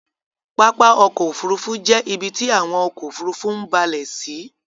Pápá ọkọ̀ òfurufú jẹ ibiti awọn ọkọ̀ òfurufú ń bálẹ̀ sí